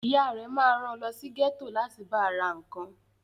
Ìyá rẹ ma ran lọ sí gẹ́tò láti ba ra nǹkan